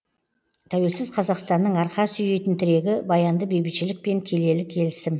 тәуелсіз қазақстанның арқа сүйейтін тірегі баянды бейбітшілік пен келелі келісім